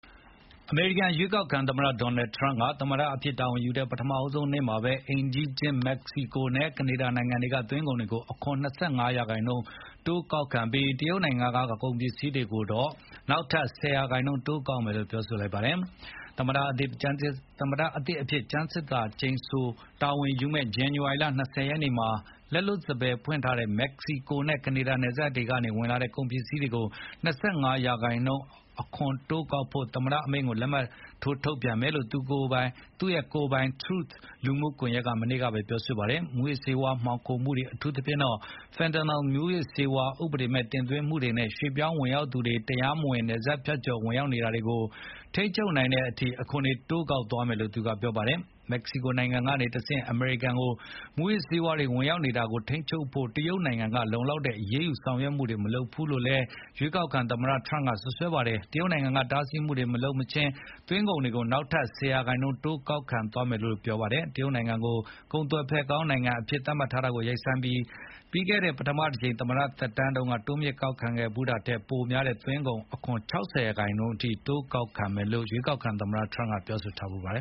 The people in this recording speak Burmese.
အမေရိကန် ရွေးကောက်ခံသမ္မတ Donald Trump က သမ္မတအဖြစ် တာဝန်ယူတဲ့ ပထမဆုံးနေ့မှာ အိမ်နီးချင်း မက္ကစီကိုနဲ့ ကနေဒါနိုင်ငံတွေက သွင်းကုန်တွေကို အခွန် ၂၅ ရာခိုင်နှုန်း တိုးကောက်ပြီး၊ တရုတ်နိုင်ငံက ကုန်ပစ္စည်းတွေကိုတော့ နောက်ထပ် ၁၀ ရာခိုင်နှုန်းတိုးကောက်မယ်လို့ ပြောလိုက်ပါတယ်။ သမ္မတသစ်အဖြစ် ကျမ်းသစ္စာကျိန်ဆို တာဝန်ယူမယ့် ဇန်နဝါရီလ ၂၀ ရက်နေ့မှာ လက်လွတ်စပယ်ဖွင့်ထားတဲ့ မက္ကစီကိုနဲ့ ကနေဒါ နယ်စပ်တွေကနေ ဝင်လာမယ့် ကုန်တွေကို ၂၅ ရာခိုင်နှုန်း အခွန်တိုးကောက်ဖို့ သမ္မတအမိန့်ကို လက်မှတ်ထိုး ထုတ်ပြန်မယ်လို့ သူ့ကိုယ်ပိုင် Truth လူမှုကွန်ရက်မှာ မနေ့ကပဲ ပြောလိုက်တာပါ။ မူးယစ်ဆေးဝါး မှောင်ခိုမှုတွေ အထူးသဖြင့် fentanyl မူးယစ်ဆေးဝါး ဥပဒေမဲ့ တင်သွင်းမှုတွေနဲ့ ရွှေ့ပြောင်းဝင်ရောက်သူတွေ တရားမဝင် နယ်စပ်ဖြတ်ကျော် ဝင်ရောက်နေတာတွေကို ထိန်းချုပ်နိုင်တဲ့ အချိန်အထိ အခွန်တွေကို တိုးကောက်သွားမယ်လို့လည်း ပြောပါတယ်။ မက္ကစီကိုနိုင်ငံကနေတဆင့် အမေရိကန်ကို မူးယစ်ဆေးဝါးတွေ ဝင်ရောက်နေတာကို ထိန်းချုပ်ဖို့ တရုတ်နိုင်ငံက လုံလောက်တဲ့ အရေးယူဆောင်ရွက်မှုတွေ မလုပ်ဘူးလို့လည်း ရွေးကောက်ခံသမ္မတထရမ့်က စွပ်စွဲခဲ့တာပါ။ တရုတ်နိုင်ငံက တားဆီးမှုတွေ မလုပ်မချင်း သွင်းကုန်ခွန်တွေကို နောက်ထပ် ၁၀ ရာခိုင် တိုးကောက်သွားမယ်လို့လည်း ပြောပါတယ်။ တရုတ်နိုင်ငံကို ကုန်သွယ်ဖက်ကောင်း နိုင်ငံအဖြစ် သတ်မှတ်ထားတာကို ရပ်ဆိုင်းပြီး၊ ပြီးခဲ့တဲ့ ပထမတကြိမ် သမ္မတသက်တမ်းတုန်းက တိုးမြှင့်ကောက်ခံခဲ့ဖူးတာထက် ပိုများတဲ့ သွင်းကုန်ခွန် ၆၀ ရာခိုင်နှုန်းအထိ ကောက်ခံမယ်လို့လည်း ရွေးကောက်ခံသမ္မတထရမ့် အရင်က ပြောထားဖူးပါတယ